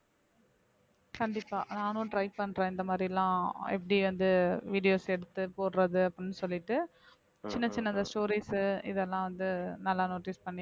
கண்டிப்பா நானும் try பண்றேன் இந்த மாதிரில்லாம் எப்படி வந்து videos எடுத்து போடுறது அப்படின்னு சொல்லிட்டு சின்ன சின்ன அந்த stories இதெல்லாம் வந்து நல்லா notice பண்ணி